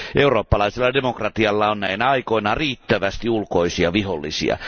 Eurooppalaisella demokratialla on näinä aikoina riittävästi ulkoisia vihollisia.